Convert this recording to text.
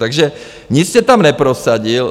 Takže nic jste tam neprosadil.